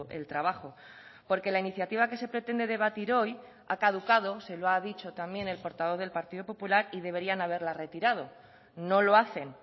el trabajo porque la iniciativa que se pretende debatir hoy ha caducado se lo ha dicho también el portavoz del partido popular y deberían haberla retirado no lo hacen